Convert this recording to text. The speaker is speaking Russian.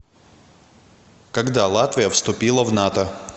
когда латвия вступила в нато